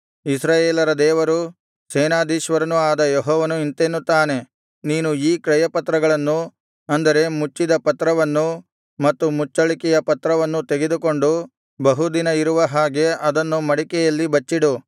ಇಸ್ರಾಯೇಲರ ದೇವರೂ ಸೇನಾಧೀಶ್ವರನೂ ಆದ ಯೆಹೋವನು ಇಂತೆನ್ನುತ್ತಾನೆ ನೀನು ಈ ಕ್ರಯಪತ್ರಗಳನ್ನು ಅಂದರೆ ಮುಚ್ಚಿದ ಪತ್ರವನ್ನೂ ಮತ್ತು ಮುಚ್ಚಳಿಕೆಯ ಪತ್ರವನ್ನೂ ತೆಗೆದುಕೊಂಡು ಬಹು ದಿನ ಇರುವ ಹಾಗೆ ಅದನ್ನು ಮಡಿಕೆಯಲ್ಲಿ ಬಚ್ಚಿಡು